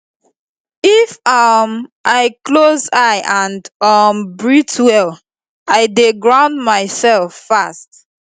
if um i close eye and um breathe well i dey ground myself fast